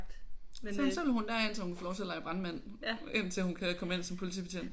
Så så vil hun derind så hun kan få lov til at lege brandmand indtil hun kan komme ind som politibetjent